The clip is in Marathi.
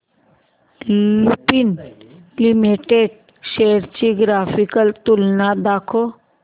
लुपिन लिमिटेड शेअर्स ची ग्राफिकल तुलना दाखव